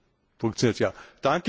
Danke für die Frage.